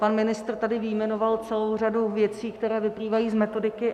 Pan ministr tady vyjmenoval celou řadu věcí, které vyplývají z metodiky.